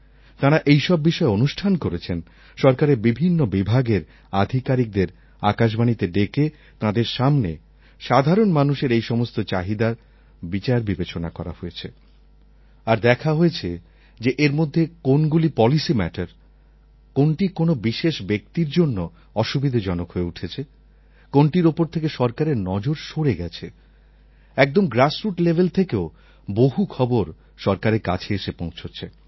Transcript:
তাঁরা এইসব বিষয়ে অনুষ্ঠান করেছেন সরকারের বিভিন্ন বিভাগের আধিকারিকদের আকাশবাণীতে ডেকে তাঁদের সামনে সাধারণ মানুষের এই সমস্ত চাহিদা বিচারবিবেচনা করা হয়েছে আর দেখা হয়েছে যে এর মধ্যে কোনগুলি পলিসি ম্যাটার কোনটি কোন বিশেষ ব্যক্তির জন্য অসুবিধেজনক হয়ে উঠেছে কোনটির ওপর থেকে সরকারের নজর সরে গেছে একদম গ্রাসরুট লেভেল থেকেও বহু খবর সরকারের কাছে এসে পৌঁছচ্ছে